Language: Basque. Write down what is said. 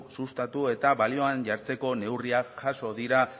sustatu eta balioan jartzeko neurriak jaso dira